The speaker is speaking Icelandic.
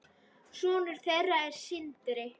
Sonur þeirra er Sindri.